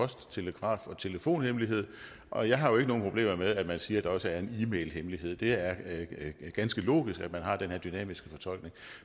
post telegraf og telefonhemmelighed og jeg har jo ikke nogen problemer med at man siger at der også er e mailhemmelighed det er ganske logisk at man har den her dynamiske fortolkning